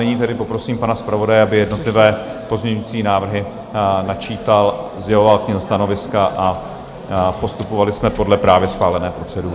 Nyní tedy poprosím pana zpravodaje, aby jednotlivé pozměňovací návrhy načítal, sděloval k nim stanoviska a postupovali jsme podle právě schválené procedury.